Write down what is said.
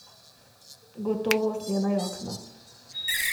Gotovo usnjena jakna.